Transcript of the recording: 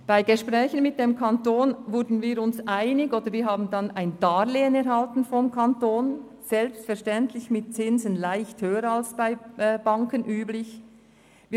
Bei Gesprächen mit dem Kanton wurden wir uns einig und erhielten vom Kanton ein Darlehen gewährt, selbstverständlich zu leicht höheren Zinsen als diese bei Banken üblich sind.